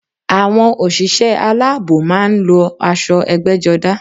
Àwọn òṣìṣẹ́ aláàbò máa ń lo aṣọ egbéjodá